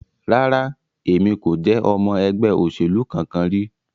Rara, Emi ko je ọmọ ẹgbẹ oselu kankan ri